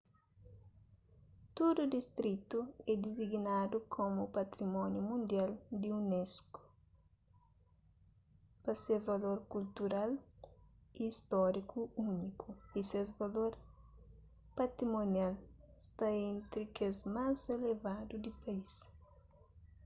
tudu distritu é disignadu komu patrimóniu mundial di unesco pa se valor kultural y stóriku úniku y ses valor patimonial sta entri kes más elevadu di país